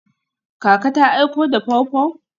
Kaka ta aiko da pawpaw?